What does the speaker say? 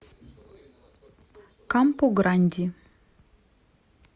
кампу гранди